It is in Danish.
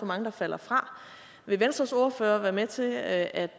mange der falder fra vil venstres ordfører være med til at